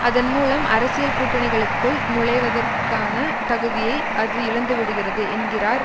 அதன் மூலம் அரசியல் கூட்டணிக்குள் நுழைவதற்கான தகுதியை அது இழந்துவிடுகிறது என்கிறார்